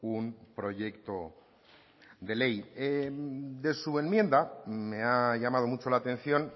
un proyecto de ley de su enmienda me ha llamado mucho la atención